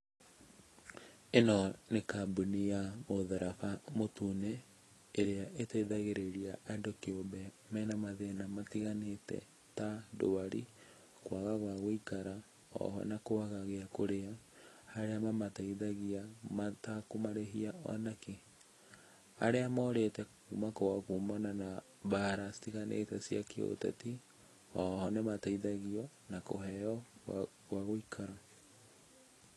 Ĩno nĩ kambuni ya Mũtharaba Mũtune ĩrĩa ĩteithagĩrĩria andũ kĩũmbe mena mathĩna matiganĩte ta ndwari, kwaga gwa gũikara,o ho na kwaga gĩa kũrĩa, harĩa mamateithagia matakũmarĩhia o nakĩ.Arĩa morĩte kuma kwao kumana na mbara citiganĩte cia kĩũteti,o ho nĩmateithagio kũheo gwa gũikara.